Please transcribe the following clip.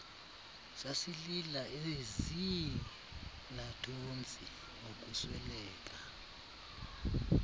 sasilila eziirnathontsi ngokusweleka